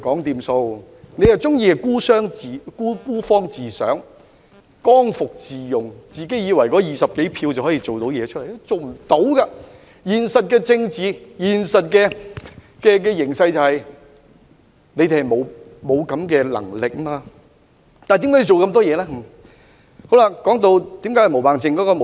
他們卻喜歡孤芳自賞，剛愎自用，自以為手持20多票便可成事，但現實的政治形勢是他們沒有這種能力，那麼他們為何還要做這麼多動作？